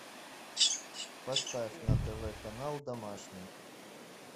поставь на тв канал домашний